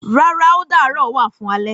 Rárá o darọ wa fún alẹ